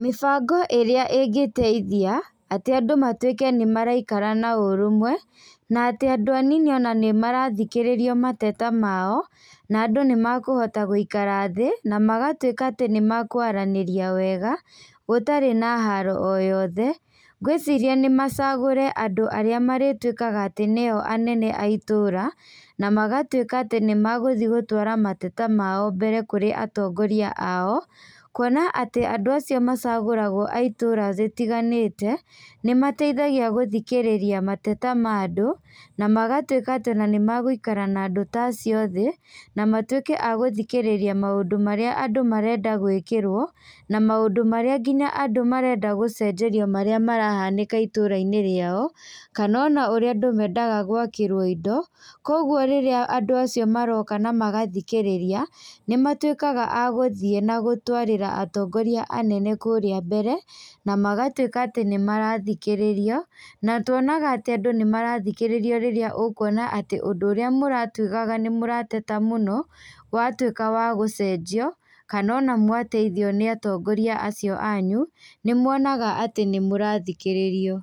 Mĩbango ĩrĩa ĩngĩteithia, atĩ andũ matuĩke nĩmaraikara na ũrũmwe, na atĩ andũ anini ona nĩmarathikĩrĩrio mateta mao, na andũ nĩmakũhota gũikara thĩ, namagatuĩka atĩ nĩmakwaranĩria wega, gũtarĩ na haro o yothe, ngwĩciria nĩmacagũre andũ arĩa marĩtuĩkaga atĩ nio anene a itũra, namagatuĩka atĩ nĩmagũthiĩ gũtwara mateta mao mbere kũrĩ atongoria ao, kuona atĩ andũ acio macagũragwo aitũra rĩtiganĩte, nĩmateithagia gũthikĩrĩria mateta ma andũ, namagatuĩka atĩ ona nĩmagũikara na andũ ta acio thĩ, na matuĩke a gũthikĩrĩria maũndũ marĩa andũ marenda gwĩkĩrwo, na maũndũ marĩa nginya andũ marenda gũcenjerio marĩa marahanĩka itũrainĩ rĩao, kana ona ũrĩa andũ mendaga gwakĩrwo indo, koguo rĩrĩa andũ acio maroka namagathikĩrĩria, nĩmatuĩkaga a gũthiĩ nagũtwarĩra atongoria anene kũrĩa mbere, namagatuĩka atĩ nĩmarathikĩrĩrio, na tuonaga atĩ andũ nĩmarathikĩrĩrio rĩrĩa ũkuona atĩ ũndũ ũrĩa mũratuĩkaga nĩmũrateta mũno, watuĩka wa gũcenjio, kana ona mwateithio nĩ atongoria acio anyu, nĩmuonaga atĩ nĩmũrathikĩrĩrio.